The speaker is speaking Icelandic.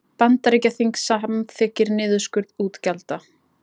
Bandaríkjaþing samþykkir niðurskurð útgjalda